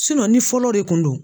ni fɔlɔ de kun don